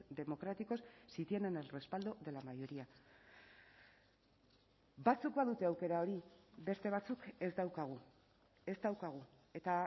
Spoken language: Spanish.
democráticos si tienen el respaldo de la mayoría batzuk badute aukera hori beste batzuk ez daukagu ez daukagu eta